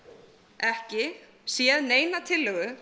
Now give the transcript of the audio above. ekki séð neina tillögu